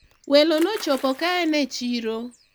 welo nochopo kaen e chiro